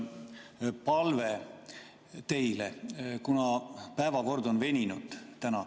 Mul on palve teile, kuna päevakord on veninud täna ...